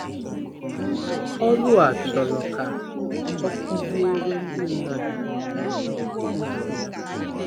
Ọrụ a chọrọ ka ọ kụziere ndị mmadụ ụzọ ya.